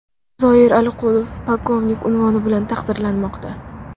Zoir Aliqulov polkovnik unvoni bilan taqdirlanmoqda.